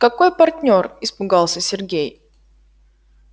какой партнёр испугался сергей